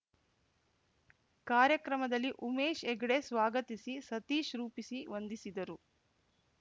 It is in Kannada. ಕಾರ್ಯಕ್ರಮದಲ್ಲಿ ಉಮೇಶ್‌ ಹೆಗ್ಡೆ ಸ್ವಾಗತಿಸಿ ಸತೀಶ್‌ ರೂಪಿಸಿ ವಂದಿಸಿದರು